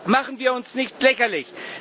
Machen wir uns nicht lächerlich!